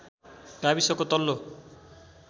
गाविसको तल्लो